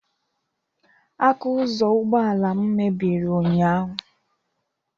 Aka ụzọ ụgbọala m mebiri ụnyaahụ